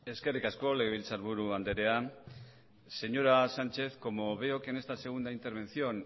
eskerrik asko legebiltzarburu andrea señora sánchez como veo que en esta segunda intervención